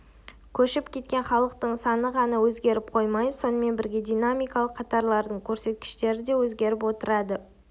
көшіп кеткен халықтың саны ғана өзгеріп қоймай сонымен бірге динамикалық қатарлардың көрсеткіштері де өзгеріп отырады